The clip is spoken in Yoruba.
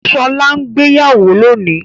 Ṣọlá gbéyàwó lónìí?